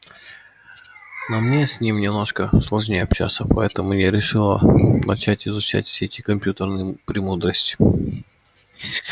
но мне с ним немножко сложнее общаться поэтому я решила начать изучать все эти компьютерные премудрости